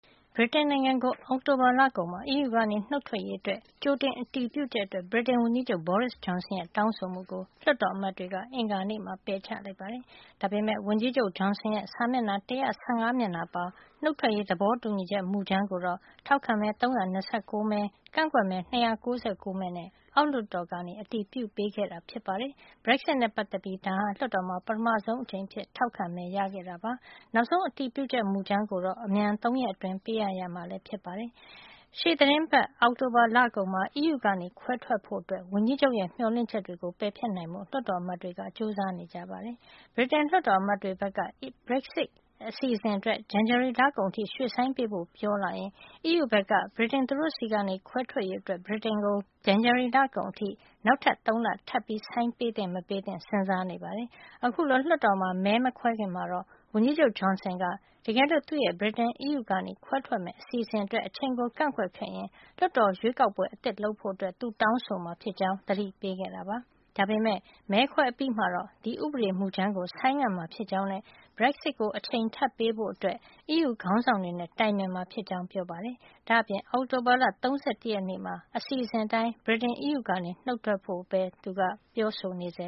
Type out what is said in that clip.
ဗြိတိန်နိုင်ငံ အောက်တိုဘာလကုန်မှာ အီးယူကနေ နုတ်ထွက်ရေး သူ့ရဲ့အစီအစဉ်ကို အမြန်အတည်ပြုဖို့ ဗြိတိန်ဝန်ကြီးချုပ် Boris Johnson ရဲ့တောင်းဆိုမှုကို လွှတ်တော်အမတ်တွေက အင်္ဂါနေ့မှာ ပယ်ချလိုက်ပါတယ်။ ဒါပေမယ့် ဝန်ကြီးချုပ် Johson ရဲ့ စာမျက်နှာ ၁၁၅ မျက်နှာပါ နုတ်ထွက်ရေး သဘောတူညီချက်မူကြမ်းကိုတော့ ထောက်ခံမဲ ၃၂၉ မဲ ကန့်ကွက်မဲ ၂၉၉ မဲနဲ့ အောက်လွှတ်တော်က အတည်ပြုပေးခဲ့တာဖြစ်ပါတယ်။ Brexit နဲ့ပတ်သက်ပြီး ဒါဟာ လွှတ်တော်မှာ ပထမဆုံးအဖြစ် ထောက်ခံမဲ ရခဲ့တာ ဖြစ်ပါတယ်။ နောက်ဆုံး အတည်ပြုချက်မူကြမ်းကို အမြန်ဆုံး ၃ ရက်အတွင်း ပေးအပ်ရမှာလည်း ဖြစ်ပါတယ်။ ရှေ့သီတင်းပတ် အောက်တိုဘာ လကုန်မှာ အီးယူကနေခွဲထွက်ဖို့ ဝန်ကြီးချုပ်ရဲ့ မျှော်လင့်ချက်တွေကို ပယ်ဖျက်နိုင်ဖို့ လွှတ်တော်အမတ်တွေက ကြိုးစားနေကြပါတယ်။ ဗြိတိန်လွှတ်တော်အမတ်တွေဘက်က Brexit အစီအစဉ်အတွက် ဇန်နဝါရီလကုန်အထိ ရွှေ့ဆိုင်းပေးဖို့ ပြောလာရင် အီးယူဘက်က နောက်ထပ် ၃ လ ထပ်ဆိုင်းပေးသင့် မပေးသင့် စဉ်းစားနေပါတယ်။ အခုလို လွှတ်တော်မှာ မဲမခွဲခင်ကတော့ ဝန်ကြီးချုပ် Johnson က တကယ်လို့ ခွဲထွက်မယ့် အစီအစဉ်အတွက် အချိန်ကို ကန့်ကွက်ခဲ့ရင် လွှတ်တော်ရွေးကောက်ပွဲအသစ်လုပ်ဖို့ သူတောင်းဆိုမှာဖြစ်ကြောင်း သတိပေးခဲ့တာပါ။ ဒါပေမယ့် မဲခွဲအပြီးမှာတော့ ဒီဥပဒေမူကြမ်းကို ဆိုင်းငံ့မှာဖြစ်ကြောင်းနဲ့ Brexit ကို အချိန်ထပ်ပေးဖို့ အီးယူခေါင်းဆောင်တွေနဲ့ တိုင်ပင်မှာဖြစ်ကြောင်း ပြောပါတယ်။ ဒါ့အပြင် အောက်တိုဘာ ၃၁ ရက်နေ့မှာ အစီအစဉ်အတိုင်း အီးယူကနေ ဗြိတိန် နုတ်ထွက်ဖို့ ပြောဆိုနေဆဲပါ